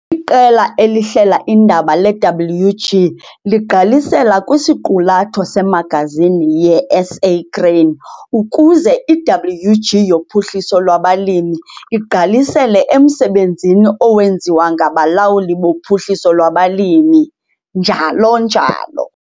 IQela eliHlela iiNdaba leWG ligqalisela kwisiqulatho semagazini yeSA Grain ukuze iWG yoPhuhliso lwabaLimi igqalisele emsebenzini owenziwa ngabalawuli boPhuhliso lwabaLimi, njalo njalo.